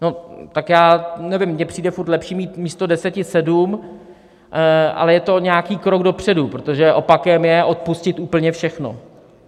No, tak já nevím, mně přijde furt lepší mít místo deseti sedm, ale je to nějaký krok dopředu, protože opakem je odpustit úplně všechno.